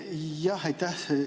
Jah, aitäh!